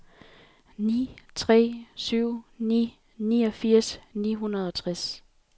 ni tre syv ni niogfirs ni hundrede og tres